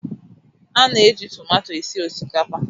A na -eji tụmato esi osikapa.